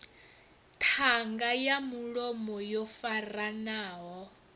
ṱhanga ya mulomo yo faranaho